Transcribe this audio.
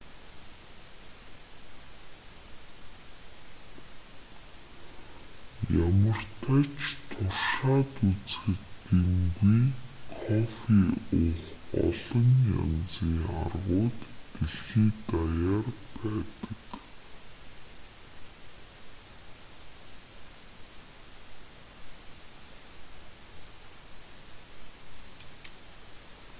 ямартай ч туршаад үзэхэд гэмгүй кофе уух олон янзын аргууд дэлхий даяар байдаг